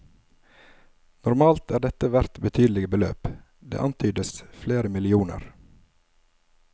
Normalt er dette verdt betydelige beløp, det antydes flere millioner.